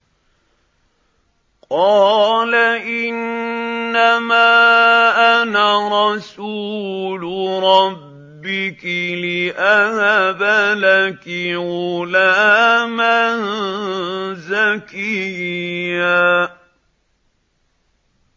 قَالَ إِنَّمَا أَنَا رَسُولُ رَبِّكِ لِأَهَبَ لَكِ غُلَامًا زَكِيًّا